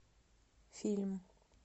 фильм